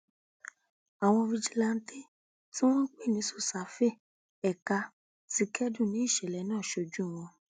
àwọn fijilantàn tí wọn ń pè ní sosafe ẹka ti kẹdùn ní ìṣẹlẹ náà sójú wọn